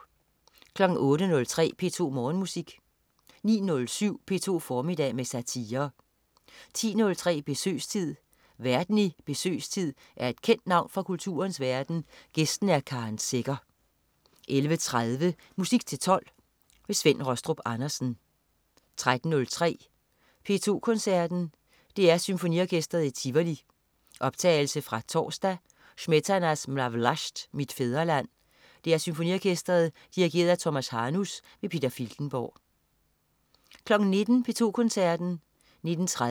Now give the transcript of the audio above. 08.03 P2 Morgenmusik 09.07 P2 formiddag med satire 10.03 Besøgstid. Værten i "Besøgstid" er et kendt navn fra kulturens verden, gæsten er Karen Secher 11.30 Musik til 12. Svend Rastrup Andersen 13.03 P2 Koncerten. DR Symfoniorkestret i Tivoli. Optagelse fra torsdag. Smetana: Ma Vlast (Mit fædreland). DR Symfoniorkestret. Dirigent: Tomas Hanus. Peter Filtenborg 19.00 P2 Koncerten. 19.30